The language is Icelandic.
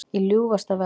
Í ljúfasta veðri